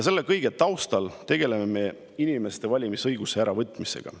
Selle kõige taustal tegeleme me inimestelt valimisõiguse äravõtmisega.